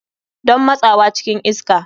Don motsawa cikin iska.